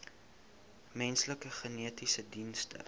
menslike genetiese dienste